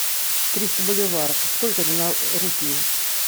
триста боливаров сколько это на рупии